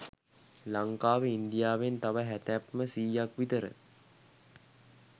ලංකාව ඉන්දියාවෙන් තව හැතැප්ම සීයක් විතර